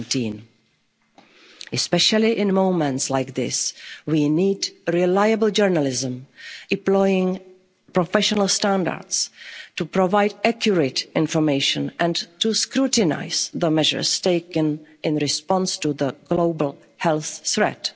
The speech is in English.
to COVID-19. Especially in moments like this, we need reliable journalism, employing professional standards to provide accurate information and to scrutinise the measures taken in response to the global health